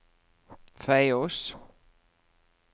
Feios